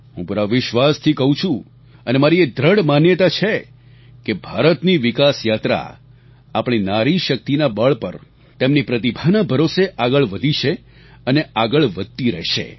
હું પૂરા વિશ્વાસથી કહું છું અને મારી એ દ્રઢ માન્યતા છે કે ભારતની વિકાસ યાત્રા આપણી નારી શક્તિના બળ પર તેમની પ્રતિભાના ભરોસે આગળ વધી છે અને આગળ વધતી રહેશે